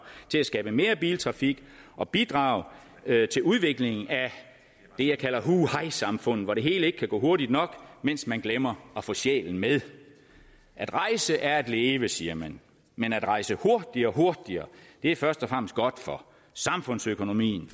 til at skabe mere biltrafik og bidrage til udviklingen af det jeg kalder hu hej samfundet hvor det hele ikke kan gå hurtigt nok mens man glemmer at få sjælen med at rejse er at leve siger man men at rejse hurtigere og hurtigere er først og fremmest godt for samfundsøkonomien